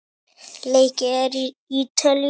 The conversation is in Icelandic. Leikið er í Ítalíu.